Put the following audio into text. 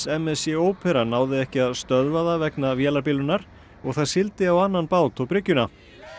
m s c ópera náði ekki að stöðva það vegna vélarbilunar og það sigldi á annan bát og bryggjuna